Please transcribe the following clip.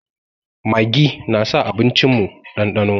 Maggi na sa abincin mu ɗanɗano